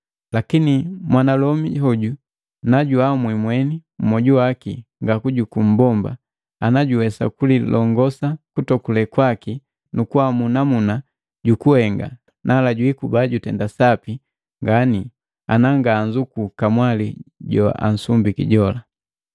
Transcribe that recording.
Lakini mwanalomi hoju najuhamwi mweni mmwoju waki ngakujuku mmbomba, ana juwesa kulilongosa kutokule kwaki nukuamu namuna jukuhenga, nala jwiikuba jutenda sapi ngani na nga anzuku kamwali joansumbiki jola.